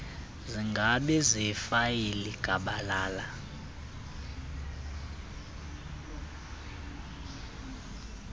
zingabi ziifayile gabalala